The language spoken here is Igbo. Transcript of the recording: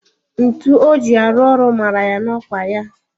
Ntu o ji arụ ọrụ mara ya n'okpa ya